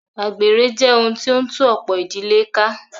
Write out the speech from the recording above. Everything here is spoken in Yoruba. Àgbèrè jẹ́ ohun tí o ń tú ọ̀pọ̀ ìdílé ká.